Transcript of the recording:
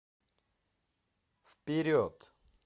вперед